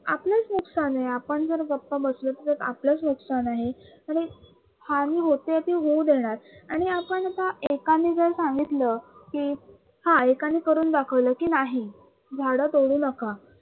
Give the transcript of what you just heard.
च नुकसान आहे आपण जर गप्प बसलो तर आपलच नुकसान आहे आणि हानी होते ती होऊ देणार आणि आपण का एकानी जर संगीतल कि हा एकाणी करून दाखवल कि नाही झाडं तोडू नका